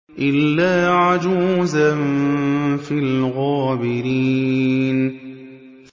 إِلَّا عَجُوزًا فِي الْغَابِرِينَ